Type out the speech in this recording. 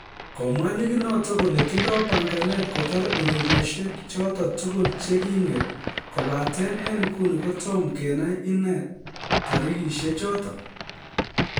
Komwa ligit noton kole tindo panganet kotar ureriosiek choton tugul che king'et kobaten en nguni kotomo kenai ine tarisiechoton.